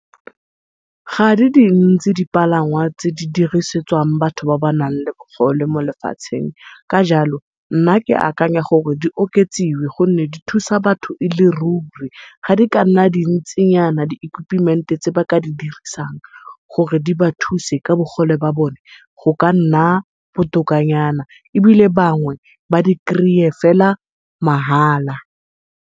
Ga di dintsi dipalangwa tse di dirisetswang batho ba ba nang le bogole mo lefatsheng. Ka jalo nna ke akanya gore di oketsiwe gonne di thusa batho e le ruri. Ga di ka nna dintsinyana, di equipment-e tse ba ka di dirisang gore di bathuse ka bogole ba bone, go ka nna botokanyana, ebile bangwe ba di kry-e mahala.